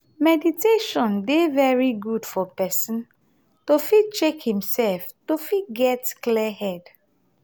meditation dey very good for person to fit check im self to fit get clear head